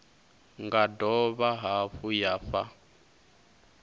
nga dovha hafhu ya fha